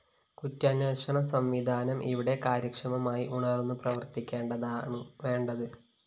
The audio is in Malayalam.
കുറ്റാന്വേഷണ സംവിധാനം ഇവിടെ കാര്യക്ഷമമായി ഉണര്‍ന്നു പ്രവര്‍ത്തിക്കയാണുവേണ്ടത്